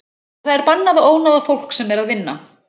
Og það er bannað að ónáða fólk sem er að vinna.